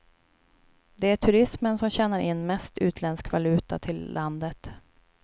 Det är turismen som tjänar in mest utländsk valuta till landet.